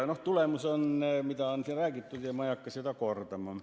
Selle tulemus on see, mida on siin räägitud ja ma ei hakka seda kordama.